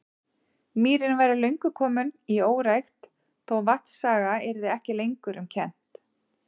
Mýrin væri fyrir löngu komin í órækt, þó vatnsaga yrði ekki lengur um kennt.